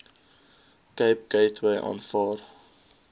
cape gateway aanvaar